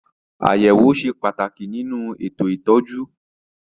Àyẹ̀wò ṣe pàtàkì nínú ètò ìtọ́jú.